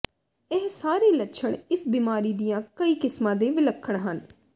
ਇਹ ਸਾਰੇ ਲੱਛਣ ਇਸ ਬਿਮਾਰੀ ਦੀਆਂ ਕਈ ਕਿਸਮਾਂ ਦੇ ਵਿਲੱਖਣ ਹਨ